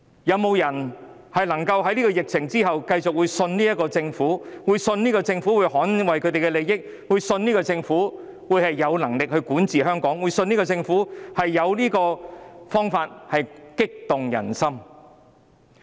有沒有人能夠在疫情完結後繼續相信這個政府，即相信政府會捍衞他們的利益，相信政府有能力管治香港，相信政府有方法激勵人心？